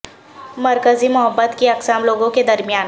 مرکزی محبت کی اقسام لوگوں کے درمیان